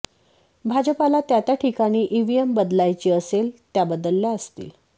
भाजपाला त्या त्या ठिकाणी ईव्हीएम बदलायची असेल त्या बदलल्या असतील